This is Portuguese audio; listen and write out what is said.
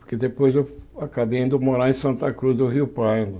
Porque depois eu acabei indo morar em Santa Cruz do Rio Pardo.